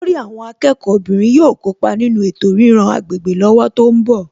Olórí àwọn akẹ́kọ̀ọ́ obìnrin yóò kópa nínú ètò ríran agbègbè lọ́wọ́ tó ń bọ̀